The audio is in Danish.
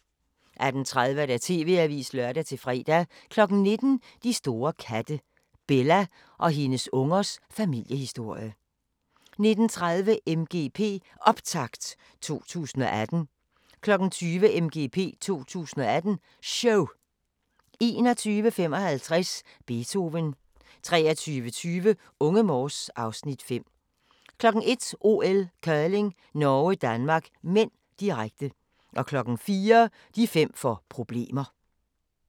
18:30: TV-avisen (lør-fre) 19:00: De store katte – Bella og hendes ungers familiehisorie 19:30: MGP Optakt 2018 20:00: MGP 2018 – Show 21:55: Beethoven 23:20: Unge Morse (Afs. 5) 01:00: OL: Curling - Norge-Danmark (m), direkte 04:00: De fem får problemer